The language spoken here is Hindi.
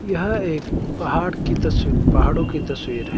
यह एक पहाड़ की तस पहाड़ों की तस्वीर है।